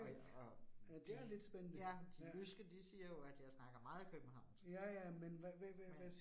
Og og de ja de jyske de siger jo, at jeg snakker meget Københavnsk. Men